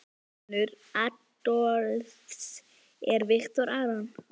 Sonur Adolfs er Viktor Aron.